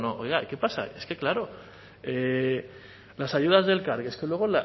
no oiga y qué pasa ahí es que claro las ayudas de elkargi es que luego